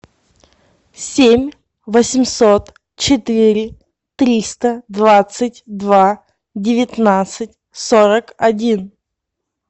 семь восемьсот четыре триста двадцать два девятнадцать сорок один